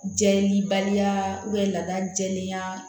Jɛ ni baliya lada jɛlenya